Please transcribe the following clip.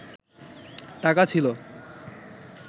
টাকা ছিল